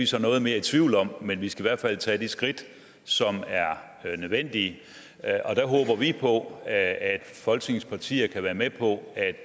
så noget mere i tvivl om men vi skal i hvert fald tage de skridt der er nødvendige og vi på at at folketingets partier kan være med på